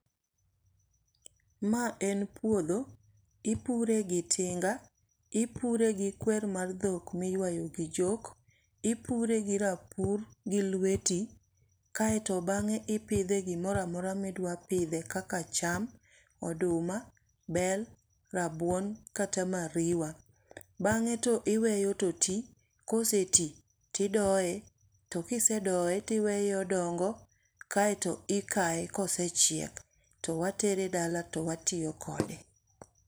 Ma en puodho, ipure gi tinga, ipure gi kwer mar dhok ma iywayo gi chok, ipure gi rapur gi lweti. Kaeto bangé ipidhe gimoro amora ma idwa pidhe kaka cham, oduma, bel, rabuon kata mariwa. Bangé to iweyo to ti, koseti, idoye to kisedoye iweye odongo. Kaeto ikae kosechiek, to watere dala to watiyo kode.